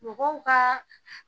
Mɔgɔw ka